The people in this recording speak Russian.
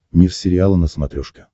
мир сериала на смотрешке